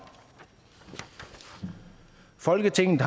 i folketinget